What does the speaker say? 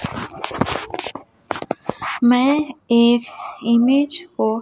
मैं एक इमेज को--